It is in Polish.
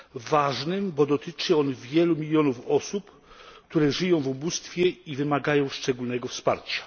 Ważnym, bo dotyczy on wielu milionów osób, które żyją w ubóstwie i wymagają szczególnego wsparcia.